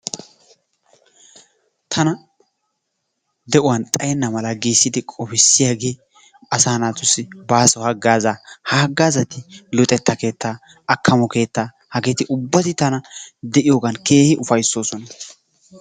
Tana de'uwan xayenna mala giidi qofissiyagee asaa naatussi baaso haggaazaa. Ha haggaazati, luxetta keettaa akkamo keettaa. Hageeti ubbay tana de'iyogan keehi ufayssoosona.